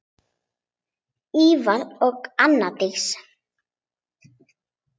Ívar og Anna Dís.